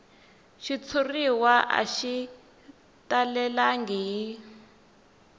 xitshuriwa a xi talelangi hi